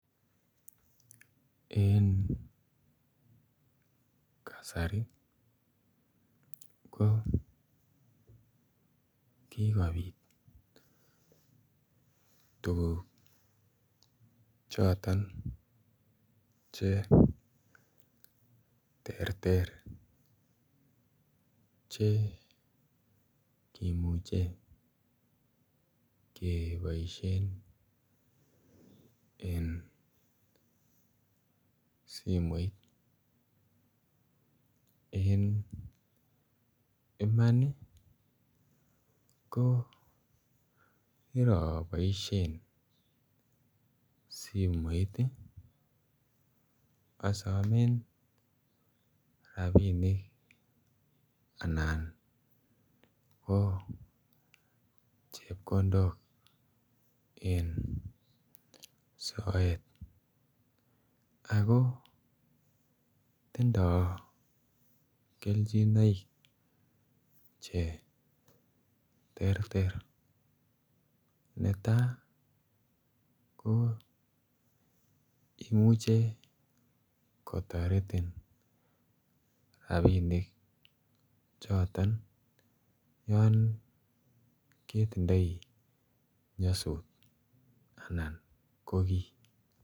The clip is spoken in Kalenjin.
En kasari ko kikopit tuguk choton che terter che kimuche keboishen en simoit. En iman ii ko kiroboishen simoit ii asomen rabinik Alan ko Checkendon en soet ako tindo kelchinoik che terter. Netaa ko imuche kotoretin rabinik choton yon ketindoi nyosut anan ko kii